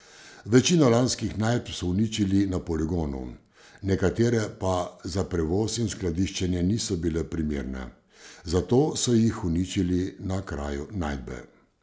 Večino lanskih najdb so uničili na poligonu, nekatere pa za prevoz in skladiščenje niso bile primerne, zato so jih uničili na kraju najdbe.